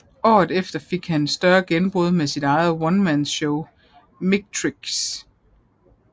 Året efter fik han et større gennembrud med sit eget onemanshow Micktrix